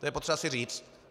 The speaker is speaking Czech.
To je potřeba si říct.